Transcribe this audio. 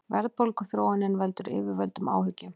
Verðbólguþróunin veldur yfirvöldum áhyggjum